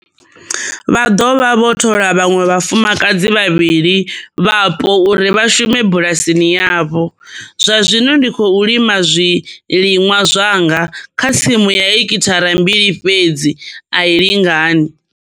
Vho dovha vha thola vhaṅwe vhafumakadzi vhavhili vhapo uri vha shume bulasini yavho. Zwa zwino ndi khou lima zwiliṅwa zwanga kha tsimu ya hekithara mbili fhedzi a i lingani.